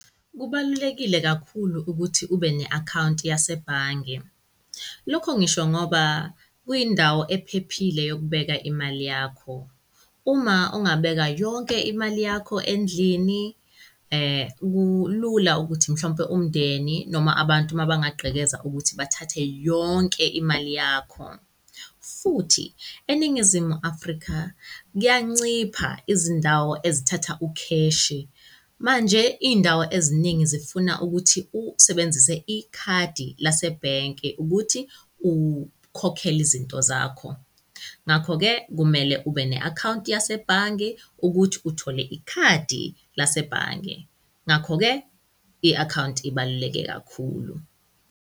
Kubalulekile kakhulu ukuthi ube ne-account yasebhange, lokho ngisho ngoba kuyindawo ephephile yokubeka imali yakho. Uma ungabeka yonke imali yakho endlini, kulula ukuthi mhlawumpe umndeni noma abantu mabangagqekeza ukuthi bathathe yonke imali yakho. Futhi eNingizimu Afrika k'yancipha izindawo ezithatha ukheshi manje iy'ndawo eziningi zifuna ukuthi usebenzise ikhadi lasebhenki ukuthi ukhokhele izinto zakho. Ngakho-ke kumele ube ne-account yasebhange ukuthi uthole ikhadi lasebhange ngakho-ke i-account ibaluleke kakhulu.